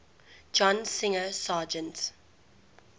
john singer sargent